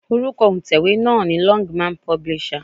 Orúkọ òǹtẹ̀wé náà ni Longman publisher.